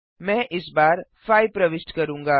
मैं इस बार 5 प्रविष्ट करूँगा